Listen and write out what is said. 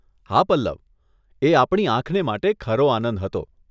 હા પલ્લવ, એ આપણી આંખને માટે ખરો આનંદ હતો.